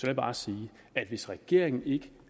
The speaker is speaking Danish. jeg bare sige at hvis regeringen ikke